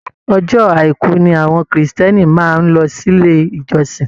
Ọjọ́ àìkú ni àwọn Kristiẹni máa ń lọ sí ilé ìjọsìn